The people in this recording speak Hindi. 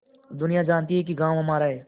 दुनिया जानती है कि गॉँव हमारा है